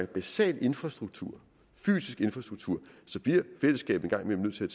basal infrastruktur fysisk infrastruktur bliver fællesskabet en gang imellem nødt til